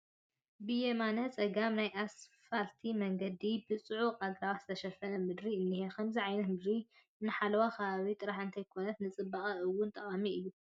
ብየማነ ፀገም ናይ ኣስፋልቲ መንገዲ ብፅዑቅ ኣግራብ ዝተሸፈነ ምድሪ እኒሀ፡፡ ከምዚ ዓይነት ምድሪ ንሓለዋ ከባቢ ጥራይ እንተይኮነስ ንፅባቐ እውን ጠቓሚ እዩ፡፡